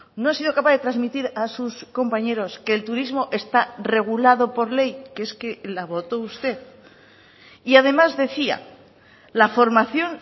no ha sido capaz de transmitir a sus compañeros que el turismo está regulado por ley que es que la votó usted y además decía la formación